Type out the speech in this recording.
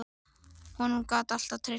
Honum gat ég alltaf treyst.